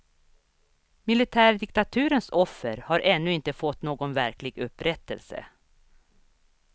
Militärdiktaturens offer har ännu inte fått någon verklig upprättelse.